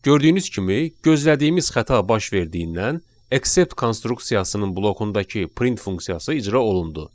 Gördüyünüz kimi, gözlədiyimiz xəta baş verdiyindən except konstruksiyasının blokundakı print funksiyası icra olundu.